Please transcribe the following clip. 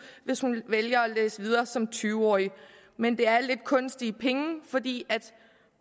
hvis hun vælger at læse videre som tyve årig men det er lidt kunstige penge fordi